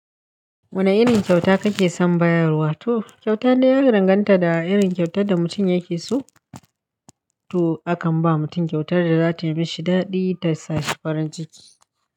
Wane irin kyauta kake son bayarwa? To kyauta dai ya danganta da irin kyautar da mutum yake so. To akan ba mutum kyautar da za tayi mashi daɗi ta sa shi farin ciki.